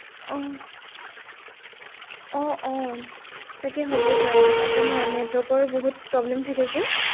আহ আহ আহ তাকে হবও পাৰে, নাজানো আৰু network ৰো বহুত problem থাকে যে।